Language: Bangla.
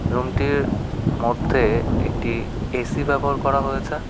রুমটির মধ্যে একটি এ_সি ব্যবহার করা হয়েছে।